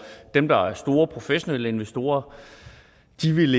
dem der er store professionelle investorer